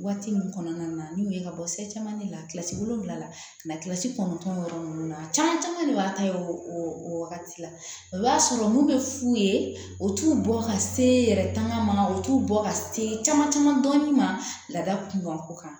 Waati min kɔnɔna na n'u ye ka bɔ se caman de la kilasi wolonwulasi kɔnɔntɔn yɔrɔ ninnu na caman caman de b'a ta ye o o wagati la o b'a sɔrɔ mun bɛ f'u ye o t'u bɔ ka se yɛrɛ tangan ma u t'u bɔ ka se caman caman dɔɔnin ma laada kun ka ko kan